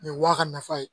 Nin ye waa ka nafa ye